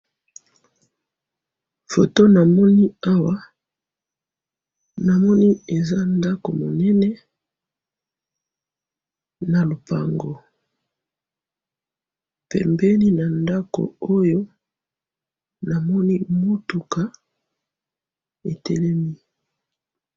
Photo namoni awa ,namoni eza ndako monene na lopango ,pembeni na ndako oyo namoni mutuka etelemi